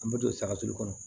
An bɛ don saga to kɔnɔ